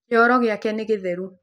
Kĩoro gĩake nĩ gĩtheru.